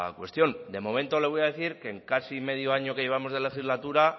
cuestión de momento le voy a decir que en casi medio año que llevamos de legislatura